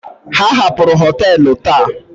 Ha hapụrụ họtelu taa.